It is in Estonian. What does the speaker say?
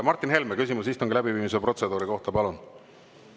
Martin Helme, küsimus istungi läbiviimise protseduuri kohta, palun!